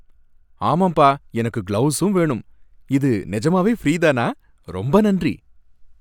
ஆமாம்பா! எனக்கு கிளவுஸும் வேணும். இது நிஜமாவே ஃப்ரீதானா? ரொம்ப நன்றி!